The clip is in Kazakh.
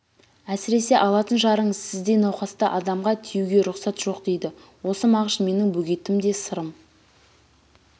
әсіресе алатын жарыңызға сіздей науқасты адамға тиюге рұқсат жоқ дейді осы мағыш менің бөгетім де сырым